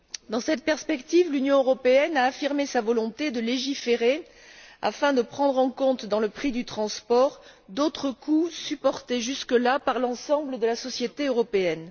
Dans cette perspective, l'Union européenne a affirmé sa volonté de légiférer afin de prendre en compte dans le prix du transport d'autres coûts supportés jusque là par l'ensemble de la société européenne.